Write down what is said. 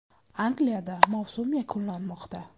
Angliyada mavsum yakunlanmoqda.